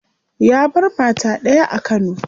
Ya bar mata daya a kano.